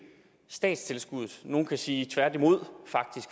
statstilskuddet og nogle kan faktisk sige tværtimod